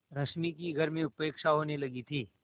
रश्मि की घर में उपेक्षा होने लगी थी